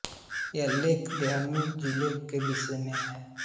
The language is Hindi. यह लेख देहरादून जिले के विषय में है